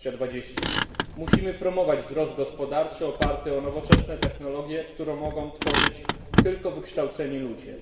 2020. Musimy promować wzrost gospodarczy oparty o nowoczesne technologie, które mogą tworzyć tylko wykształceni ludzie.